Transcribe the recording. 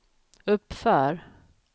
uppför